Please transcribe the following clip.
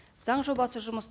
заң жобасы жұмыс